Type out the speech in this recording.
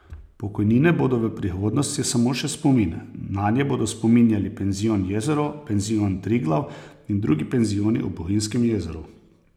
Pokojnine bodo v prihodnosti samo še spomin, nanje bodo spominjali penzion Jezero, penzion Triglav in drugi penzioni ob Bohinjskem jezeru.